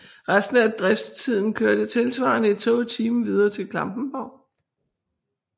Resten af driftstiden kørte tilsvarende et tog i timen videre til Klampenborg